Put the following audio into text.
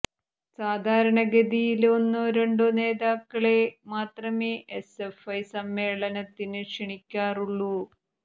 സാധാരണ ഗതിയില് ഒന്നോ രണ്ടോ നേതാക്കളെ മാത്രമേ എസ്എഫ്ഐ സമ്മേളനത്തിന് ക്ഷണിക്കാറുള്ളു